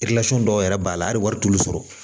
dɔw yɛrɛ b'a la hali wari t'olu sɔrɔ